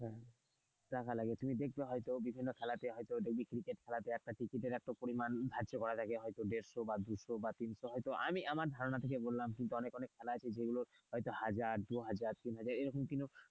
টাকা লাগে তুমি দেখবে হয়তো বিভিন্ন খেলাতে হয়তো দেখবে ক্রিকেট খেলাতে একটা টিকেটের এতো পরিমাণ ধার্য করা থাকে হয়তো দেড়শ বা দুইশো বা তিনশো হয়তো, আমি আমার ধারণা থেকে বললাম কিন্তু অনেক অনেক খেলা আছে যেগুলো হয়তো হাজার দু হাজার তিন হাজার এরকম কিন্তু,